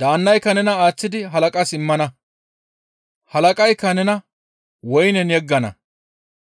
daannayka nena aaththidi halaqas immana; halaqaykka nena woynen yeggana.